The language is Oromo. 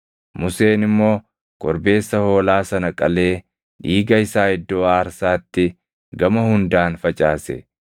Museen immoo korbeessa hoolaa sana qalee dhiiga isaa iddoo aarsaatti gama hundaan facaase.